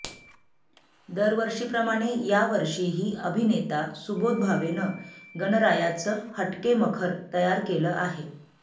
दरवर्षीप्रमाणे या वर्षीही अभिनेता सुबोध भावेनं गणरायाचं हटके मखर तयार केलं आहे